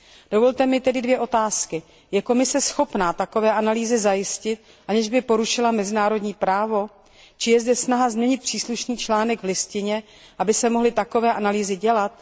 Dovolte mi tedy dvě otázky Je Komise schopna takové analýzy zajistit, aniž by porušila mezinárodní právo, či je zde snaha změnit příslušný článek listiny, aby se mohly takové analýzy dělat?